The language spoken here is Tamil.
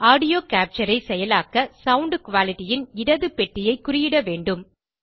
ஆடியோ கேப்சர் ஐ செயலாக்க சவுண்ட் Qualityன் இடது பெட்டியை குறியிடவேண்டும்